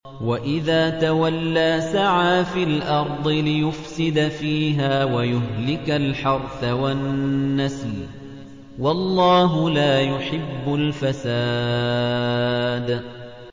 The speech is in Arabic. وَإِذَا تَوَلَّىٰ سَعَىٰ فِي الْأَرْضِ لِيُفْسِدَ فِيهَا وَيُهْلِكَ الْحَرْثَ وَالنَّسْلَ ۗ وَاللَّهُ لَا يُحِبُّ الْفَسَادَ